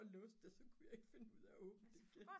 og låste det og så kunne jeg ikke finde ud af at åbne det igen